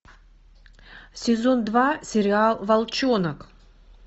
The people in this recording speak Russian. сезон два сериал волчонок